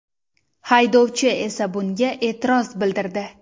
Haydovchi esa bunga e’tiroz bildirdi.